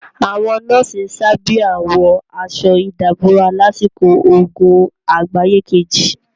Àwọn nọ́ọ̀sì sábíà wọ aṣọ ìdàbora lásìkò ogun àgbáyé kejì.